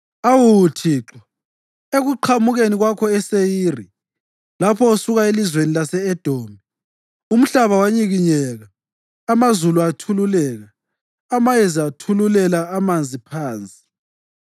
Awu Thixo, ekuqhamukeni kwakho eSeyiri, lapho usuka elizweni lase-Edomi, umhlaba wanyikinyeka, amazulu athululeka, amayezi athululela amanzi phansi.